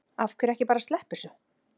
Af hverju ekki bara að sleppa þessu?